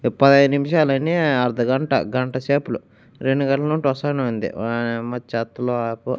పదైదు నిమిషాలయినాయి అర్ధగంట గంటసేపులు రెండు గంటల నుండి వస్తానే ఉంది చెత్తలో ఆకు.